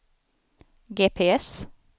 GPS